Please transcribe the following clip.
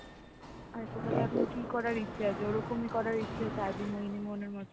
আচ্ছা তাহলে এখন কি করার ইচ্ছা আছে ওরকমই করার ইচ্ছা আছে আদি মোহিনী মোহন এর মত.